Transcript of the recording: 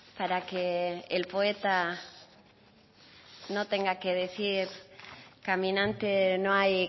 para que el poeta no tenga que decir caminante no hay